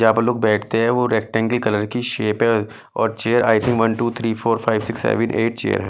जहां पर लोग बैठते हैं वो रेक्टेंगल कलर की शेप है और chair I think one two three four five six seven eight chair है।